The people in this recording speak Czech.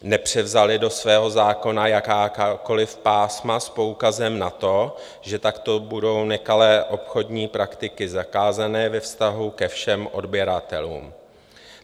Nepřevzali do svého zákona jakákoliv pásma s poukazem na to, že takto budou nekalé obchodní praktiky zakázané ve vztahu ke všem odběratelům.